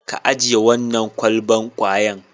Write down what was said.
Ka ajiye wannan kwalban kwayan.